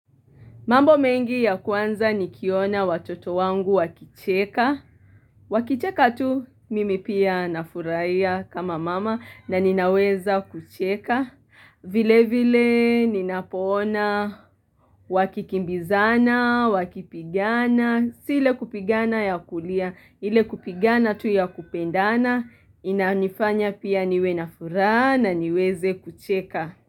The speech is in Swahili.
Mambo mengi ya kwanza nikiona watoto wangu wakicheka. Wakicheka tu mimi pia nafurahia kama mama na ninaweza kucheka. Vile vile ninapoona wakikimbizana, wakipigana, si le kupigana ya kulia. Ile kupigana tu ya kupendana, inanifanya pia niwe nafuraha na niweze kucheka.